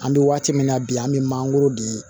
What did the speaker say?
An bɛ waati min na bi an bɛ mangoro di